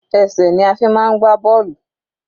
Ẹsẹ̀ ni a fi máa ń gbá bọ́ọ̀lù.